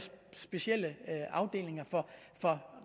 specielle afdelinger for